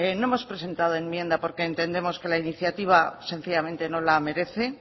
no hemos presentado enmienda porque entendemos que la iniciativa sencillamente no la merece